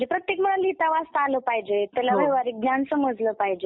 म्हणजे प्रत्येकाला लिहिता वाचता आलं पाहिजे, व्हावहरिक ज्ञान समजलं पाहिजे...